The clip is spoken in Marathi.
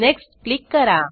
नेक्स्ट क्लिक करा